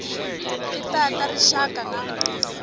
ti ta ta rixaka na